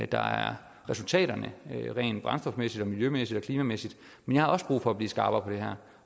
der er resultaterne rent brændstofmæssigt og miljømæssigt og klimamæssigt men jeg har også brug for at blive skarpere